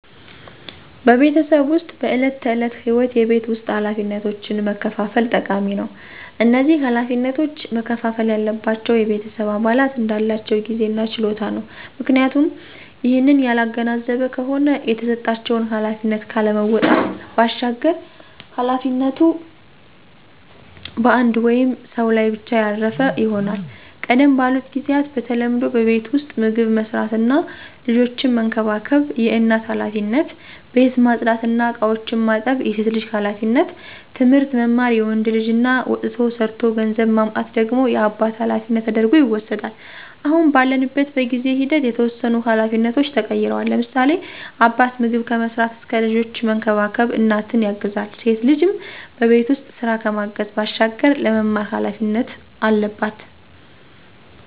በቤተሰብ ዉስጥ በዕለት ተዕለት ህይወት የቤት ውስጥ ኃላፊነቶችን መከፋፈል ጠቃሚ ነው። እነዚህ ኃላፊነቶች መከፍፈል ያለባቸው የቤተሰብ አባላት እንዳላቸው ጊዜ እና ችሎታ ነው፤ ምክንያቱም ይህንን ያላገናዘበ ከሆነ የተሰጣቸውን ኃላፊነት ካለመወጣት ባሻገር ኃላፊነቱ በአንድ ወይም ሰው ላይ ብቻ ያረፈ ይሆናል። ቀደም ባሉት ጊዚያት በተለምዶ በቤት ዉስጥ ምግብ መስራት እና ልጆችን መንከባከብ የእናት ኃላፊነት፣ ቤት ማፅዳት እና እቃዎችን ማጠብ የሴት ልጅ ኃላፊነት፣ ትምህርት መማር የወንድ ልጅ እና ወጥቶ ሠርቶ ገንዘብ ማምጣት ደግሞ የአባት ኃላፊነት ተደርጐ ይወስዳል። አሁን ባለንበት በጊዜ ሂደት የተወሰኑ ኃላፊነቶች ተቀይረዋል፤ ለምሳሌ፦ አባት ምግብ ከመስራት እስከ ልጆችን መንከባከብ እናትን ያግዛል፣ ሴት ልጅም በቤት ውስጥ ስራ ከማገዝ ባሻገር ለመማር ኃላፊነት አለባት።